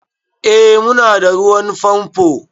Eh mu na da ruwan famfo